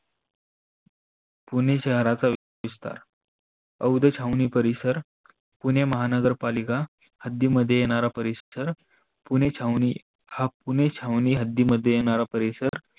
पुणे शहराचा विस्तार अवधे छावनी परिसर, पुणे महानगर पालिका हद्दीमध्ये येणारा परिसर पुणे छावणी हा पुने छावणी हद्दीमध्ये येणारा परिसर.